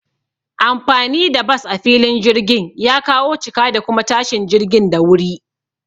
Anfani da bas a filin jirgin ya kawo cika da kuma tashin jirgin da wuri